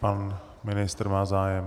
Pan ministr má zájem.